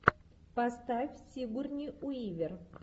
поставь сигурни уивер